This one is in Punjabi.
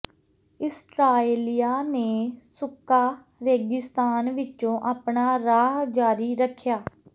ਇਸਰਾਏਲੀਆਂ ਨੇ ਸੁੱਕਾ ਰੇਗਿਸਤਾਨ ਵਿੱਚੋਂ ਆਪਣਾ ਰਾਹ ਜਾਰੀ ਰੱਖਿਆ